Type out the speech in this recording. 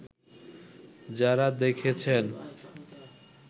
যারা দেখেছেন